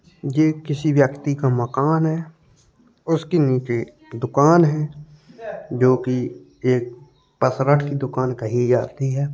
ये किसी व्यक्ति का मकान है। उसके नीचे दुकान है जोकि एक पसरठ की दुकान कही जाती है।